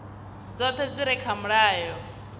dzoṱhe dzi re kha mulayo